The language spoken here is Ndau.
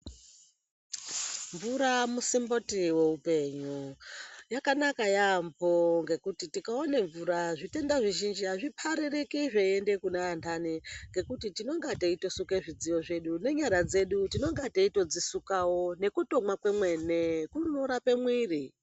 Mvura musimboti weupenyu. Yakanaka yaambo ngekuti tikaone mvura zvitenda zvizhinji hazvipaririki zveiende kune antani ngekuti tinenge teitosuke zvidziyo zvedu nenyara dzedu tinonga teitodzisukawo nekutomwa kwemene kunorape mwiiri.